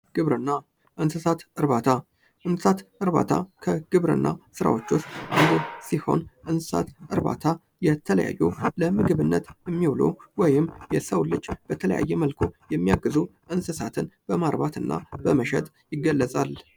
ግብርና፡- እንስሳት እርባታ ፥ እንስሳት እርባታ ከግብርና ስራዎቹ ውስጥ አንዱ ሲሆን ፤ እንስሳት እርባታ የተለያዩ ለምግብነት የሚሆኑ ወይም የሰው ልጅ በተለያየ መልኩ የሚያገዙ እንስሳትን በመግዛትና በመሸጥ ይገለፃል።